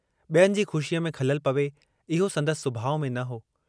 ॿियनि जी ख़ुशीअ में ख़ललु पवे, इहो संदसि सुभाव में न हो।